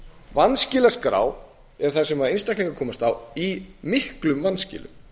vanskilaskrá er það sem einstaklingar komast í í miklum vanskilum